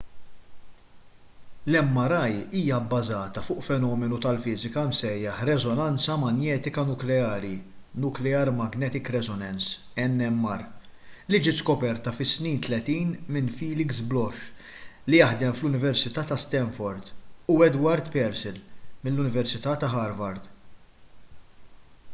l-mri hija bbażata fuq fenomenu tal-fiżika msejjaħ reżonanza manjetika nukleari nuclear magnetic resonance - nmr li ġiet skoperta fis-snin tletin minn felix bloch li jaħdem fl-università ta’ stanford u edward purcell mill-università ta’ harvard